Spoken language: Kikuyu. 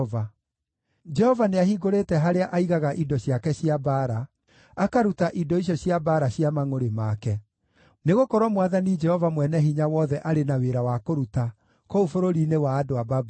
Jehova nĩahingũrĩte harĩa aigaga indo ciake cia mbaara, akaruta indo icio cia mbaara cia mangʼũrĩ make, nĩgũkorwo Mwathani Jehova Mwene-Hinya-Wothe arĩ na wĩra wa kũruta kũu bũrũri-inĩ wa andũ a Babuloni.